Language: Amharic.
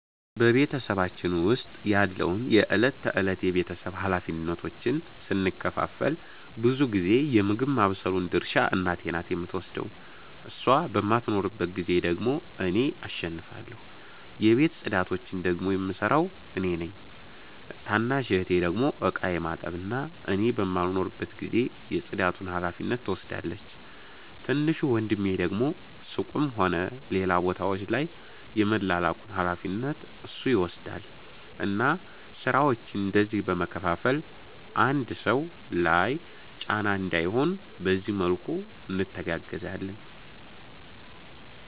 በ ቤተሰባችን ዉስጥ ያለውን የ እለት ተእለት የ ቤተሰብ ሀላፊነቶችን ስንከፋፈል ብዙ ጊዜ የ ምግብ ማባብሰሉን ድርሻ እናቴ ናት የምትወስደው እሷ በማትኖርባት ጊዜ ደግሞ እኔ እሸፍናለሁ። የቤት ፅዳቶቺን ደግሞ የምሰራው እኔ ነኝ። ታናሽ እህቴ ደግሞ እቃ የማጠብ እና እኔ በማልኖርበት ጊዜ የ ፅዳቱን ሀላፊነት ትወስዳለቺ። ትንሹ ወንድሜ ደግሞ ሱቅም ሆነ ሌላ ቦታወች ላይ የመላላኩን ሀላፊነት እሱ ይወስዳል እና ስራወቺን እንደዚህ በ መከፋፈል አንድ ሰው ላይ ጫና እንዳይሆን በዚህ መልኩ እንተጋገዛለን